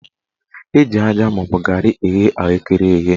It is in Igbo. Eji aja maọbụ garị eghe ahụekere eghe